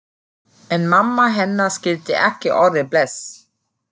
En mamma hennar skildi ekki orðið bless.